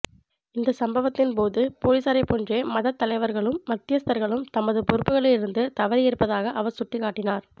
இந்த சம்பவத்தின போது பொலிசாரைப்போன்றே மதத்தலைவர்களும் மத்தியஸ்தர்களும் தமது பொறுப்புக்களிலிருந்து தவறியிருப்பதாக அவர் சுட்டிக்காட்டினார்